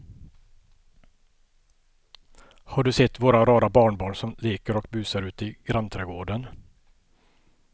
Har du sett våra rara barnbarn som leker och busar ute i grannträdgården!